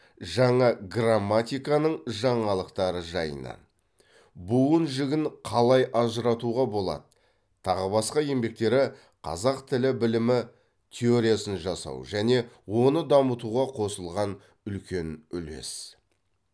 жаңа грамматиканың жаңалықтары жайынан буын жігін қалай ажыратуға болады тағы басқа еңбектері қазақ тіл білімі теориясын жасау және оны дамытуға қосылған үлкен үлес